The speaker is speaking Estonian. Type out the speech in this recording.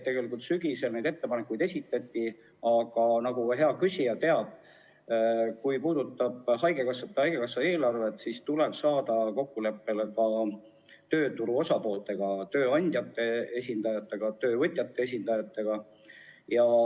Sügisel neid ettepanekuid esitati, aga nagu hea küsija teab, kui asi puudutab haigekassat ja selle eelarvet, siis tuleb jõuda kokkuleppele ka tööturu osapooltega – tööandjate esindajatega, töövõtjate esindajatega.